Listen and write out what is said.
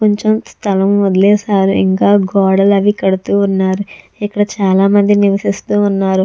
కొంచెం స్థలం వదిలేశారు ఇంకా గోడలు అవి కడుతూ ఉన్నారు ఇక్కడ చాలా మంది నివసిస్తూ ఉన్నారు.